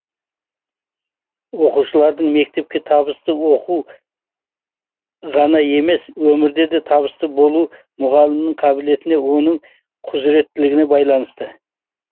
оқушылардың мектепте табысты оқуы ғана емес өмірде де табысты болуы мұғалімнің қабілетіне оның құзыреттілігіне байланысты